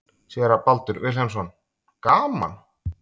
Séra Baldur Vilhelmsson: Gaman?